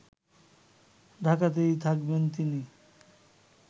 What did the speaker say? ঢাকাতেই থাকবেন তিনি